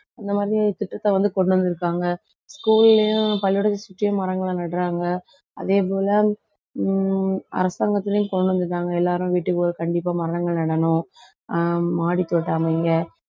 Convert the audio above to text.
இந்த மாதிரித் திட்டத்தை வந்து கொண்டு வந்திருக்காங்க. school லயும் பள்ளிக்கூடத்தை சுத்தியும் மரங்களை நடுறாங்க. அதே போல ஹம் அரசாங்கத்திலேயும் கொண்டு வந்துட்டாங்க எல்லாரும் வீட்டுக்கு ஒ~ கண்டிப்பா மரங்கள் நடணும். ஆஹ் மாடித் தோட்டம் அமைங்க